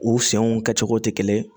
U senw kɛcogo tɛ kelen ye